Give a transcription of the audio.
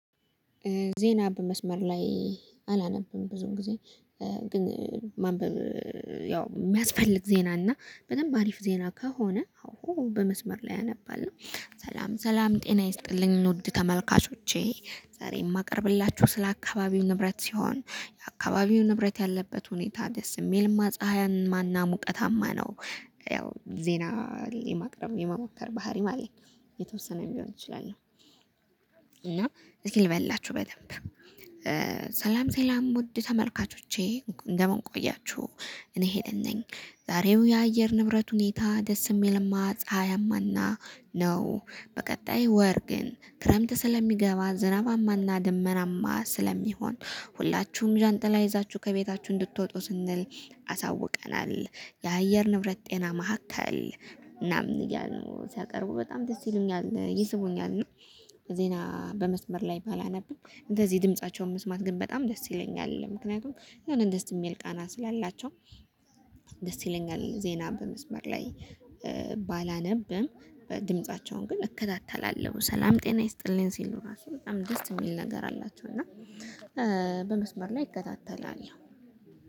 ዜና በመስመር ላይ አላነብም ብዙ ጊዜ እ ግን ማንበብ። እ ያው ሚያስፈልግ ዜና እና በደምብ አሪፍ ዜና ከሆነ አው በመስመር ላይ አነባለሁ ሰላም ሰላም ጤና ይስጥልኝ ውድ ተመልካቾቼ ዛሬ የማቀርብላችሁ ስለ አካባቢ ንብረት ሲሆን የአካባቢው ንብረት ያለበት ሁኔታ ደስ የሚል ፀሀያማና ሙቀታማ ነው። እ ያው ዜና የማቅረብ የመሞከር ባህሪ ማለት የተወሰነም ቢሆን እችላለሁ። እና እዚህ ልበላችሁ በደንብ እ ሰላም ሰላም ውድ ተመልካቾቼ እንደምን ቆያችሁ። እኔ ሄለን ነኝ የዛሬው የአየር ንብረት ሁኔታ ደስ የሚልማ ፀሀያማና ነው። በቀጣይ ወር ግን ክረምት ስለሚገባ ዝናባማና ድመናማ ስለሚሆን ሁላችሁም ዣንጥላ ይዛችሁ ከቤታችሁ እንድትወጡ ስንል አሳውቀናል። የአየር ንብረት ጤና ማዕከል እናም እያሉ ሲያቀርቡ በጣም ደስ ይሉኛል ይስቡኛል። እና ዜና በመስመር ላይ ባላነብም እንደዚህ ድምፃቸውን መስማት ግን በጣም ደስ ይለኛል ምክንያቱም የሆነ ደስ የሚል ቃና ስላላቸው። ደስ ይለኛል ዜና በመስመር ላይ እ ባላነብም ድምፃቸውን ግን እከታተላለሁ። ሰላም ጤና ይስጥልኝ ሲሉ ራሱ በጣም ደስ የሚል ነገር አላቸው። እና እ በመስመር ላይ እከታተላለሁ